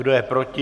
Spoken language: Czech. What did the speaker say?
Kdo je proti?